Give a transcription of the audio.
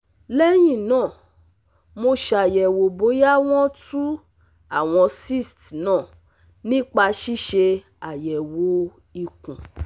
Lẹ́yìn náà, mo ṣàyẹ̀wò bóyá wọ́n tú àwọn cysts náà nípa ṣíṣe àyẹ̀wò ikùn